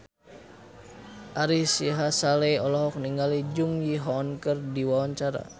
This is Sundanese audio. Ari Sihasale olohok ningali Jung Ji Hoon keur diwawancara